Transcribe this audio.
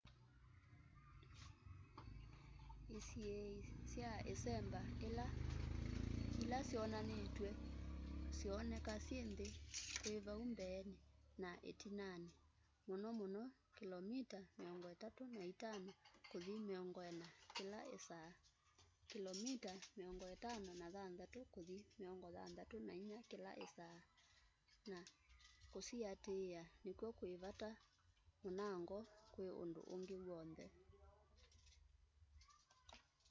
isiĩi sya ĩsemba ila syonanĩtw'e syoneka syĩ nthĩ kwĩ vau mbeenĩ na ĩtinanĩ - mũno mũno kĩlomita 35 kũthi 40 kĩla ĩsaa kĩlomita 56 kũthi 64 kĩla ĩsaa - na kũsiatĩĩa nĩkw'o kwĩ vata mũnango kwĩ ũndũ ũngĩ w'onthe